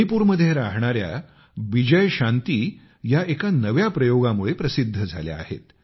मणिपुरमध्ये राहणाऱ्या बिजयशांती एका नव्या प्रयोगामुळे प्रसिद्ध झाल्या आहेत